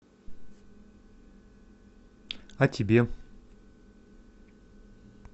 а тебе